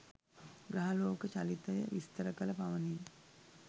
ග්‍රහලෝක චලිතය විස්තර කළ පමණින්